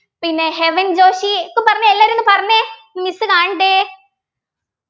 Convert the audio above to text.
പിന്നെ ഹെവൻ ജോഷി ഒക്കെ പറഞ്ഞു എല്ലാരും ഒന്ന് പറഞ്ഞെ miss കാണട്ടെ